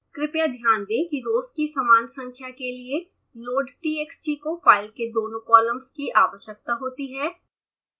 कृपया ध्यान दें कि रोज़ की समान संख्या के लिए loadtxt को फाइल के दोनों कॉलम्स की आवश्यकता होती है